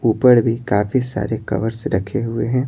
ऊपर भी काफी सारे कवर्स रखे हुए हैं।